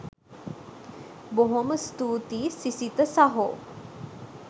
බොහොම ස්තූතියි සිසිත සහෝ